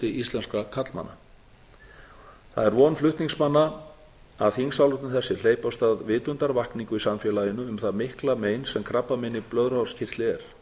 íslenskra karlmanna það er von flutningsmanna að þingsályktun þessi hleypi af stað vitundarvakningu í samfélaginu um það mikla mein sem krabbamein í blöðruhálskirtli er